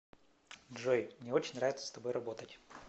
джой мне очень нравится с тобой работать